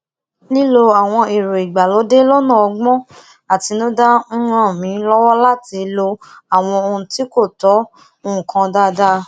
lilo àwọn èrọ ìgbàlódé lónà ógbón àtinúdá n ran mi lowo lati lo àwọn ohun tí kò tó nǹkan dáadáa